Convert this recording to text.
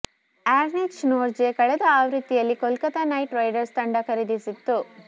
Anrich Nortje ಕಳೆದ ಆವೃತ್ತಿಯಲ್ಲಿ Kolkata Knight Riders ತಂಡ ಖರೀದಿಸಿತ್ತು